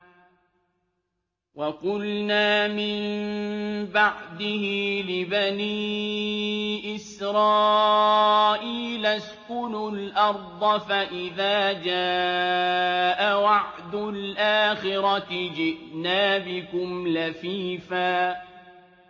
وَقُلْنَا مِن بَعْدِهِ لِبَنِي إِسْرَائِيلَ اسْكُنُوا الْأَرْضَ فَإِذَا جَاءَ وَعْدُ الْآخِرَةِ جِئْنَا بِكُمْ لَفِيفًا